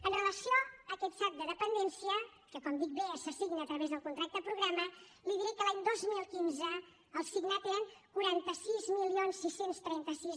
amb relació a aquest sad de dependència que com dic bé s’assigna a través del contracte programa li diré que l’any dos mil quinze el signat eren quaranta sis mil sis cents i trenta sis